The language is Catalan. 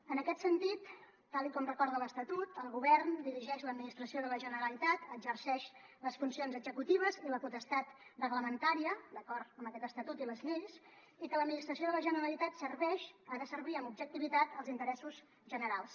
en aquest sentit tal com recorda l’estatut el govern dirigeix l’administració de la generalitat exerceix les funcions executives i la potestat reglamentària d’acord amb aquest estatut i les lleis i que l’administració de la generalitat serveix ha de servir amb objectivitat els interessos generals